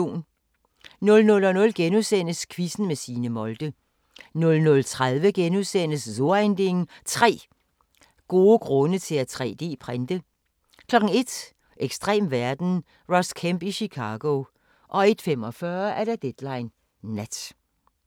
00:00: Quizzen med Signe Molde * 00:30: So ein Ding: 3 gode grunde til at 3D-printe * 01:00: Ekstrem verden – Ross Kemp i Chicago 01:45: Deadline Nat